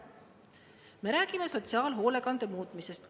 Me räägime sotsiaalhoolekande muutmisest.